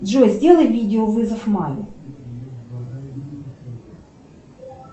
джой сделай видеовызов маме